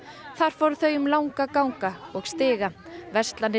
þar fóru þau um langa ganga og stiga verslanir